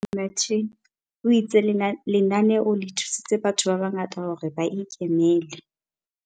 Shaheed Martin, o itse lenaneo le thusitse batho ba bangata hore ba ikemele.